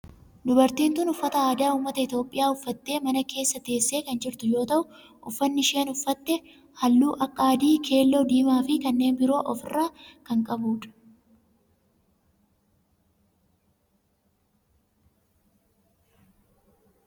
Dubartiin tun uffata aadaa ummata Itiyoophiyaa uffattee mana keessa teessee kan jirtu yoo ta'u uffanni isheen uffatte halluu akka adii, keelloo, diimaa fi kanneen biroo of irraa kan qabu dha.